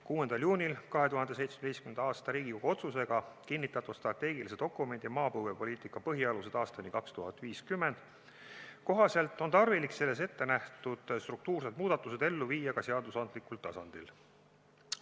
6. juunil 2017. aastal Riigikogu otsusega kinnitatud strateegilise dokumendi "Maapõuepoliitika põhialused aastani 2050" kohaselt on tarvilik selles ette nähtud struktuursed muudatused ellu viia ka seadusandlikul tasandil.